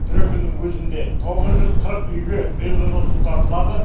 трекиннің өзінде тоғыз жүз қырық үйге биылғы жылы су тартылады